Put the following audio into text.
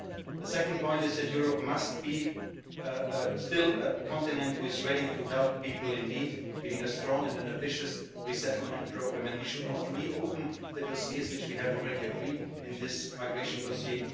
A second point is that Europe must be still a continent that is ready to help people in need. We need a strong and an ambitious resettlement programme, and we should not reopen the dossiers which we have already agreed in this migration dossier.